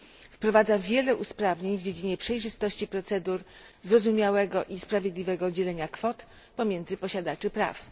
Wprowadza wiele usprawnień w dziedzinie przejrzystości procedur, zrozumiałego i sprawiedliwego dzielenia kwot pomiędzy posiadaczy praw.